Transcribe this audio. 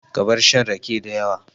Ka bar shan rake dayawa